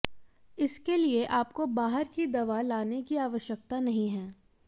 इसके लिए आपको बाहर की दवा लाने की आवश्यकता नही है